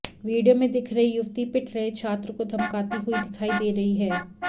video में दिख रही युवती पिट रहे छात्र को धमकाती हुई दिखाई दे रही है